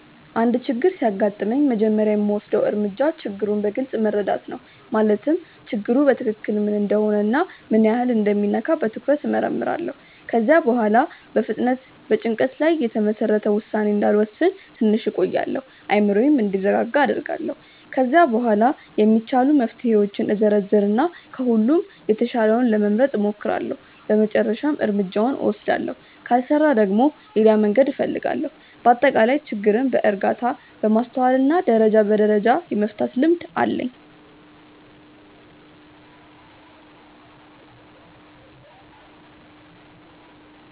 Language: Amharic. አንድ ችግር ሲያጋጥመኝ መጀመሪያ የምወስደው እርምጃ ችግሩን በግልጽ መረዳት ነው። ማለትም ችግሩ በትክክል ምን እንደሆነ እና ምን ያህል እንደሚነካ በትኩረት እመርምራለሁ። ከዚያ በኋላ በፍጥነት በጭንቀት ላይ የተመሰረተ ውሳኔ እንዳልወስን ትንሽ እቆያለሁ፤ አእምሮዬም እንዲረጋጋ አደርጋለሁ። ከዚያ በኋላ የሚቻሉ መፍትሄዎችን እዘረዝር እና ከሁሉም የተሻለውን ለመምረጥ እሞክራለሁ በመጨረሻም እርምጃውን እወስዳለሁ። ካልሰራ ደግሞ ሌላ መንገድ እፈልጋለሁ። በአጠቃላይ ችግርን በእርጋታ፣ በማስተዋል እና ደረጃ በደረጃ የመፍታት ልምድ አለኝ።